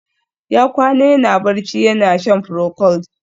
Ya kwana yana barci, yana shan procold